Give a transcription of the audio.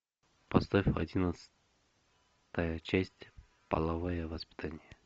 поставь одиннадцатая часть половое воспитание